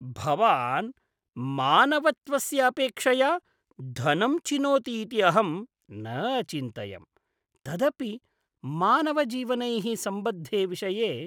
भवान् मानवत्वस्य अपेक्षया धनं चिनोति इति अहं न अचिन्तयम्, तदपि मानवजीवनैः सम्बद्धे विषये।